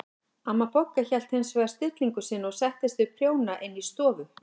Amma Bogga hélt hins vegar stillingu sinni og settist við prjóna inn í stofu.